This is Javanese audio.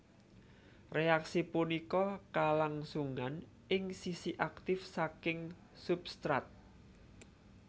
Reaksi punika kalangsungan ing sisi aktif saking substrat